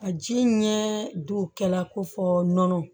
A ji ɲɛ don kɛla ko fɔ nɔnɔ